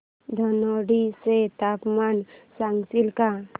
धनोडी चे तापमान सांगशील का